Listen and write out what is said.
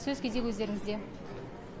сөз кезегі өздеріңізде